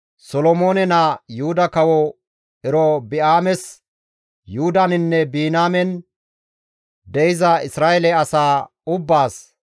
«Solomoone naa Yuhuda kawo Erobi7aames Yuhudaninne Biniyaamen de7iza Isra7eele asaa ubbaas,